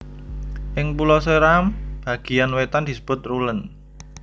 Ing Pulo Seram bagiyan wetan disebut rulen